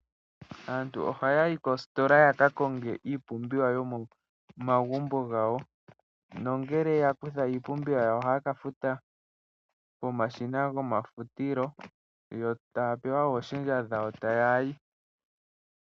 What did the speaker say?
Aantu ohaya yi koositola ya ka konge iipumbiwa yomomagumbo gawo, nongele ya kutha iipumbiwa yawo nena ohaya ka futa komashina gomafutilo yo taya pewa ooshendja dhawo e taya yi.